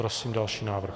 Prosím další návrh.